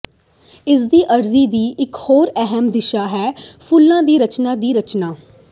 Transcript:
ਇਸਦੀ ਅਰਜ਼ੀ ਦੀ ਇਕ ਹੋਰ ਅਹਿਮ ਦਿਸ਼ਾ ਹੈ ਫੁੱਲਾਂ ਦੀ ਰਚਨਾ ਦੀ ਰਚਨਾ